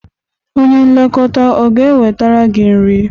Onye nlekọta ọ ga-ewetara gị nri?